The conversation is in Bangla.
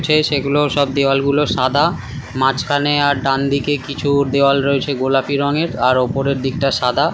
সেই সেগুলো ও সব দেওয়াল গুলো সাদা। মাঝখানে আর ডানদিকে কিছু দেওয়াল রয়েছে গোলাপি রঙের আর উপরের দিকটা সাদা।